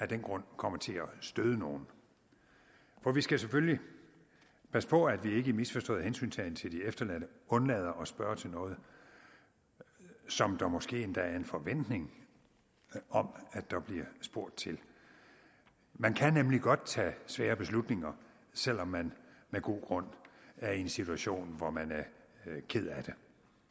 den grund kommer til at støde nogen for vi skal selvfølgelig passe på at vi ikke i misforstået hensyntagen til de efterladte undlader at spørge til noget som der måske endda er en forventning om at der bliver spurgt til man kan nemlig godt tage svære beslutninger selv om man med god grund er i en situation hvor man er ked af det